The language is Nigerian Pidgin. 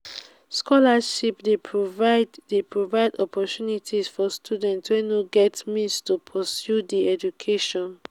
scholarships dey provide dey provide opportunities for students wey no get means to pursue dia education.